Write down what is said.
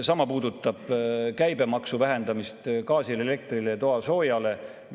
Sama puudutab gaasi, elektri ja toasooja käibemaksu vähendamist.